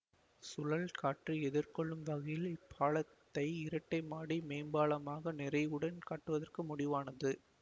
சுழல் காற்றை எதிர்கொள்ளும் வகையில் இப்பாலத்தை இரட்டைமாடி மேம்பாலமாக நிறைவுடன் கட்டுவதற்கு முடிவானது